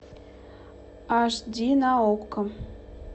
аш ди на окко